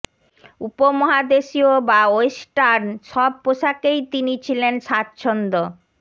উপমহাদেশীয় বা ওয়েস্টার্ন সব পোশাকেই তিনি ছিলেন স্বাচ্ছন্দ